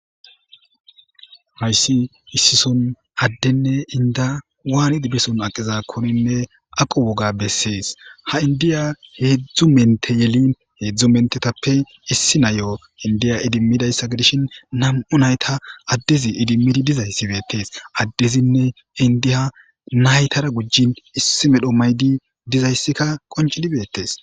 Hayssi issison addenne inda waanidi beson aqiza koninne aqo woga bessees ha indiya heedzdzu mente yelin heedzdzu mentetappe issi nayo indiya idimmidayssa gidishin nam'u nayta addezi idimmidi dizayssibeetees addezinne indiya naytara gujjin issi medho maydi dizayssikka qoncilibeetees.